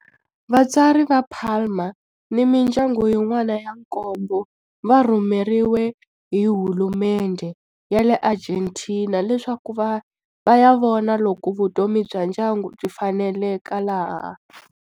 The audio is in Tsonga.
Vatswari va Palma ni mindyangu yin'wana ya nkombo va rhumeriwe hi hulumendhe ya le Argentina leswaku va ya vona loko vutomi bya ndyangu byi faneleka laha.